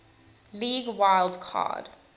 league wild card